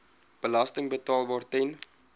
belasting betaalbaar ten